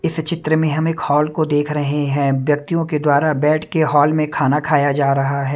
इस चित्र में हम एक हॉल को देख रहे हैं व्यक्तियों के द्वारा बैठ के हॉल में खाना खाया जा रहा है।